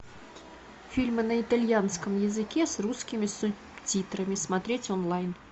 фильмы на итальянском языке с русскими субтитрами смотреть онлайн